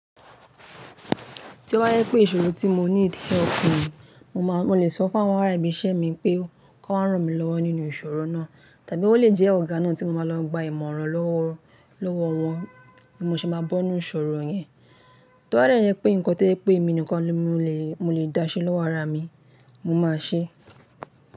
Tí ó bá yẹ pé ìṣòro tí mo need pọ̀ fún mi, mo lè sọ fún àwọn ará ibi iṣẹ́ mi pé kí wọ́n ran mi lọ́wọ́ nínú ìṣòro náà. Tàbí ó lè jẹ́ ọ̀gá náà tí mo máa lọ gba ìmọ̀ràn lọ́wọ́ wọn bí mo ṣe máa bọ́nu ìṣòro yẹn. Tó bá dé jẹ́ pé nǹkan tó jẹ́ pé èmi nìkan ni mo lè dáṣẹ́ lọ́wọ́ ara mi, mo máa ṣẹ́.